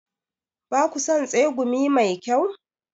Ba ku son tsegumi mai kyau?